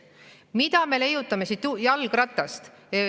Miks me leiutame jalgratast?